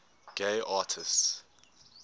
gay artists